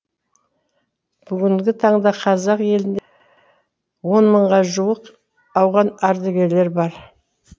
бүгінгі таңда қазақ елінде он мыңға жуық ауған ардагерлері бар